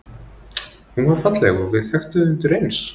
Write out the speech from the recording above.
Hún var falleg og við þekktum þig undireins.